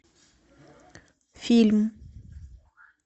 фильм